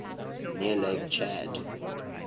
near lake chad